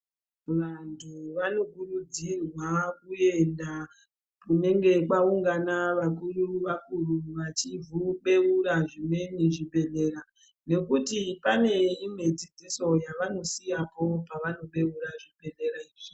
Vantu vanokurudzirwa kuenda kunenge kwaungana vakuru vakuru vachizobeura zvimweni zvibhedhlera ngekuti pane imwe dzidziso yavanosiyapo pevanobeura zvibhedhlera izvi.